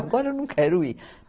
Agora eu não quero ir.